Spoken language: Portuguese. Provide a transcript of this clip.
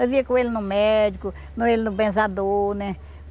Eu vinha com ele no médico, com ele no benzador, né?